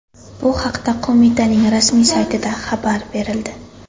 Bu haqda qo‘mitaning rasmiy saytida xabar berildi .